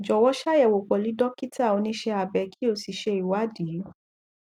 jọwọ ṣàyẹwò pẹlú dókítà oníṣẹ abẹ kí o sì ṣe ìwádìí